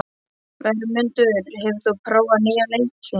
Vermundur, hefur þú prófað nýja leikinn?